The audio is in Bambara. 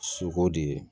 Soko de ye